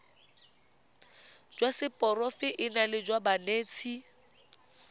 jwa seporofe enale jwa banetshi